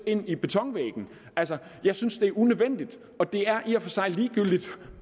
ind i betonvæggen jeg synes det er unødvendigt det er i og for sig ligegyldigt